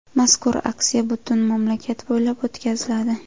Mazkur aksiya butun mamlakat bo‘ylab o‘tkaziladi.